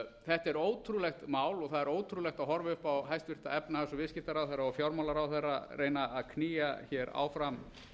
þetta er ótrúlegt mál og það er ótrúlegt að horfa upp á hæstvirtan efnahags og viðskiptaráðherra og fjármálaráðherra reyna að knýja hér áfram